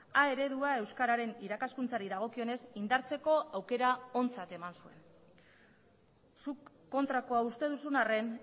a eredua euskararen irakaskuntzari dagokionez indartzeko aukera ontzat eman zuen zuk kontrakoa uste duzun arren